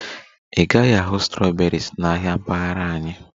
Ị gaghị ahụ strawberries na ahịa mpaghara anyị